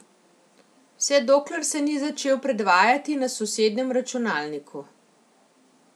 Vse dokler se ni začel predvajati na sosednjem računalniku.